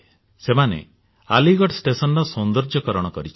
ସେମାନେ ଆଲିଗଡ ଷ୍ଟେସନର ସୌନ୍ଦର୍ଯ୍ୟକରଣ କରିଛନ୍ତି